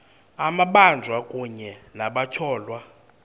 amabanjwa kunye nabatyholwa